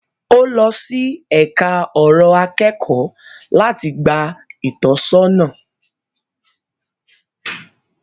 Ọ́ lọ sí ẹka ọ̀rọ̀ akẹ́kọ̀ọ́ láti gba ìtọ́sọ́nà.